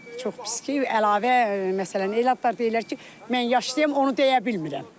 Çox pis ki, əlavə, məsələn, elə adlar deyirlər ki, mən yaşlıyam, onu deyə bilmirəm.